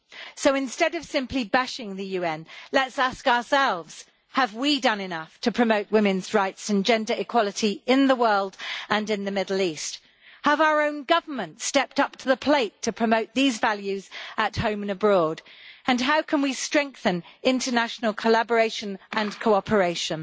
So, instead of simply bashing the UN, let us ask ourselves if we have done enough to promote women's rights and gender equality in the world and in the Middle East. Have our own governments stepped up to the plate to promote these values at home and abroad, and how can we strengthen international collaboration and cooperation?